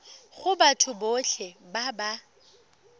go batho botlhe ba ba